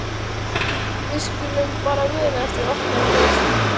Við skulum bara muna eftir að opna hann fyrst!